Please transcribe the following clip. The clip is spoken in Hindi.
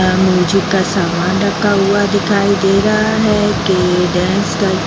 म्यूजिक का सामान रखा हुआ दिखाई दे रहा है --